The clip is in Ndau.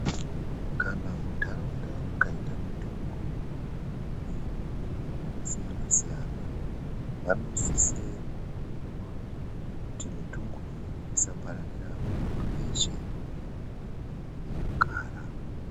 Kana muntharaunda mukaita mutungu, yezvirwere zvakasiyana siyana siyana vanosise kubairwa kuti mitungu iyoyo isapararira kuvanhtu vese munhtaraunda mwevanogara.